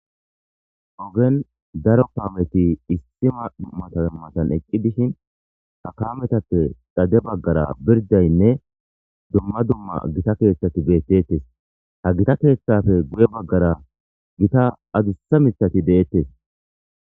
ogen daro kaameti issi mataan matan eqqi dishin ha kametappe xade baggara birdaynne dumma dumma gita keeththati beettettes ha gita keeththafe guye baggara gita adussa mithati deettes